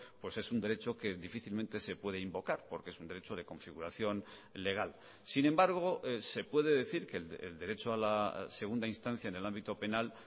pues es un derecho que difícilmente se puede invocar porque es un derecho de configuración legal sin embargo se puede decir que el derecho a la segunda instancia en el ámbito penal